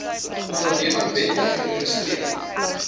onderneming wetlik geregistreer